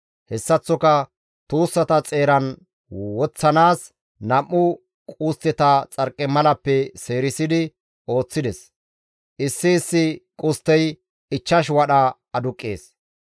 Hessaththoka tuussata xeeran woththanaas nam7u qustteta xarqimalappe seerisidi ooththides; issi issi qusttey ichchash wadha aduqqees.